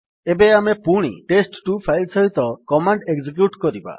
ଏବେ ଆମେ ପୁଣି ଟେଷ୍ଟ2 ଫାଇଲ୍ ସହିତ କମାଣ୍ଡ୍ ଏକଜିକ୍ୟୁଟ୍ କରିବା